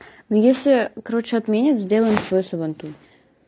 ну если короче отменят сделаем свой сабантуй